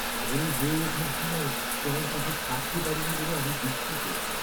বড় হয়ে ওঠার সময় তোমার পাশে থাকতে পারিনি বলে আমি দুঃখিত।